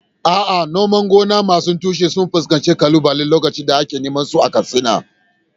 A’a, noman amfanin gona masu tushe sun fuskanci kalubale lokacin da ake noman su a Katsina.